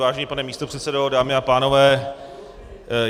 Vážený pane místopředsedo, dámy a pánové.